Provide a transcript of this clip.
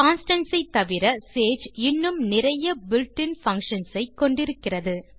constants தவிர Sage இன்னும் நிறைய built இன் பங்ஷன்ஸ் ஐ கொண்டிருக்கிறது